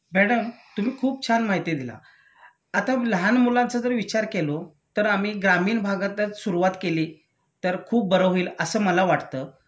madam तुम्ही खूप छान माहिती दिला आता लहान मुलांचा जर विचारलो तर आम्ही ग्रामीण भागातच सुरुवात केली तर खूप बर होईल असं मला वाटतं